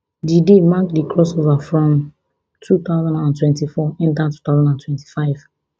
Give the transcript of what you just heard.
di day mark di crossover from two thousand and twenty-four enta two thousand and twenty-five